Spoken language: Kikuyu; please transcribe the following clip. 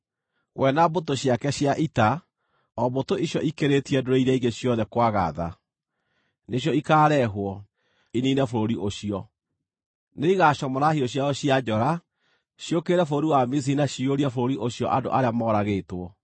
We na mbũtũ ciake cia ita, o mbũtũ icio ikĩrĩtie ndũrĩrĩ iria ingĩ ciothe kwaga tha, nĩcio ikaarehwo, iniine bũrũri ũcio. Nĩigacomora hiũ ciao cia njora, ciũkĩrĩre bũrũri wa Misiri na ciyũrie bũrũri ũcio andũ arĩa moragĩtwo.